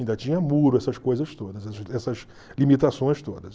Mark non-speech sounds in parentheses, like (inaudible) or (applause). Ainda tinha muro, essas coisas todas, (unintelligible) essas limitações todas.